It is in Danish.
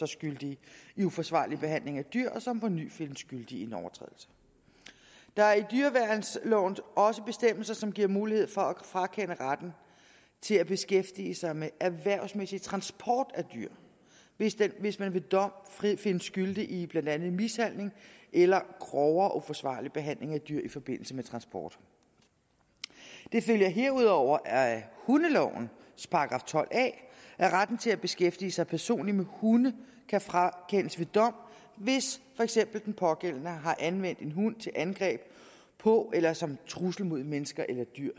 skyldige i uforsvarlig behandling af dyr og som på ny findes skyldige i en overtrædelse der er i dyreværnsloven også bestemmelser som giver mulighed for at frakende retten til at beskæftige sig med erhvervsmæssig transport af dyr hvis man hvis man ved dom findes skyldig i blandt andet mishandling eller grovere uforsvarlig behandling af dyr i forbindelse med transport det følger herudover af hundelovens § tolv a at retten til at beskæftige sig personligt med hunde kan frakendes ved dom hvis for eksempel den pågældende har anvendt en hund til angreb på eller som en trussel mod mennesker eller dyr